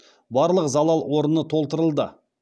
барлық залал орны толтырылды